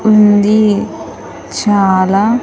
ఉంది చాలా--